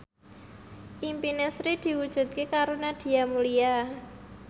impine Sri diwujudke karo Nadia Mulya